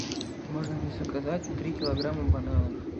можно мне заказать три килограмма бананов